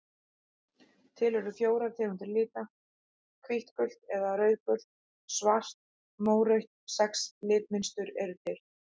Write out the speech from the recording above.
Til eru fjórar tegundir lita: hvítt gult eða rauðgult svart mórautt Sex litmynstur eru til.